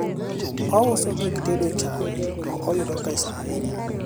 ouso gik tedo chaye to oyudo pesa ahinya